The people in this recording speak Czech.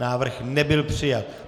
Návrh nebyl přijat.